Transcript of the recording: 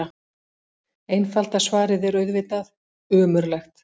Einfalda svarið er auðvitað: ömurlegt.